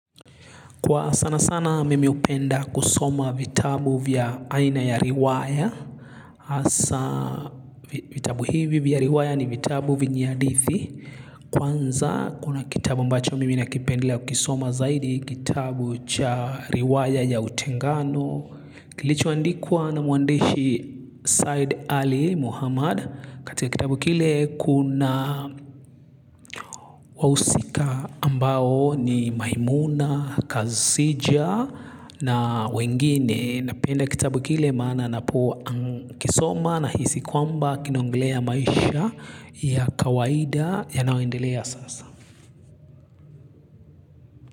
Kwa sana sana mimi hupenda kusoma vitabu vya aina ya riwaya. Hasa vitabu hivi vya riwaya ni vitabu venye hadithi. Kwanza kuna kitabu ambacho mimi nakipendilea kukisoma zaidi kitabu cha riwaya ya utengano. Kilicho a ndikuwa na mwandishi Said Ali Muhammad. Katika kitabu kile kuna wahusika ambao ni maimuna, kazi sija na wengine. Napenda kitabu kile maana napu kisoma na hisi kwamba kinonglea maisha ya kawaida ya naoendelea sasa.